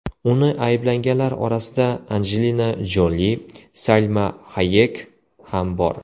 Uni ayblaganlar orasida Anjelina Joli, Salma Hayek ham bor.